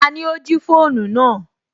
Tani ó jí fóònù náà